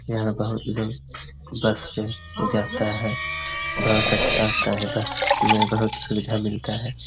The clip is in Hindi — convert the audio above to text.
यहाँ बहुत लोग बस से जाता है। बहुत अच्छा आता है बस में बहुत सुविधा मिलता है।